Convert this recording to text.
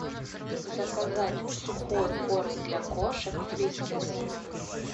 заказать сухой корм для кошек фрискис